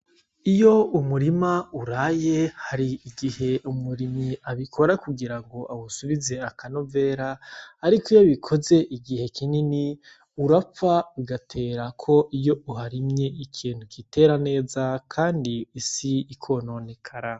Iyo umurima uraye hari igihe umurimyi abikora kugira awusubize akanovera, ariko iyo abikoze igihe kinini urapfa ugaterako iyo uharimye ikintu gitera neza kandi isi ikononekara.